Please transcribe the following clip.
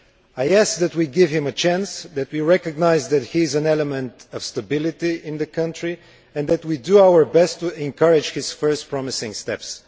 I ask that we give him a chance, that we recognise that he is an element of stability in the country, and that we do our best to encourage his first promising steps.